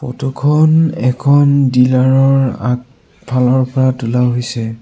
ফটোখন এখন ডিলাৰৰ আগফালৰ পৰা তোলা হৈছে।